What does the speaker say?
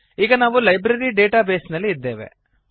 ಈಗ ನಾವು library data base ನಲ್ಲಿ ಇದ್ದೇವೆ